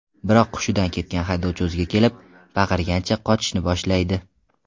Biroq hushidan ketgan haydovchi o‘ziga kelib, baqirgancha, qochishni boshlaydi.